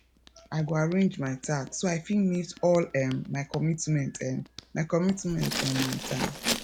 i go arrange my tasks so i fit meet all um my commitments um my commitments um on time